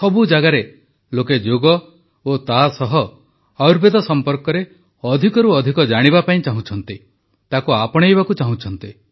ସବୁ ଜାଗାରେ ଲୋକେ ଯୋଗ ଓ ତାସହ ଆୟୁର୍ବେଦ ସମ୍ପର୍କରେ ଅଧିକରୁ ଅଧିକ ଜାଣିବା ପାଇଁ ଚାହୁଁଛନ୍ତି ତାକୁ ଆପଣାଇବାକୁ ଚାହୁଁଛନ୍ତି